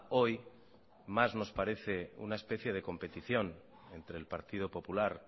hoy más nos parece una especie de competición entre el partido popular